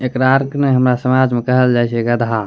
एकरा अर क नाय हमरा समाज में कहल जाय छे गधा।